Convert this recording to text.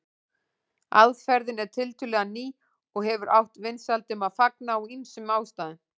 Aðferðin er tiltölulega ný og hefur átt vinsældum að fagna af ýmsum ástæðum.